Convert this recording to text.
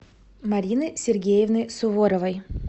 марины сергеевны суворовой